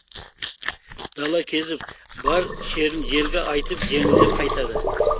дала кезіп бар шерін желге айтып жеңілдеп қайтады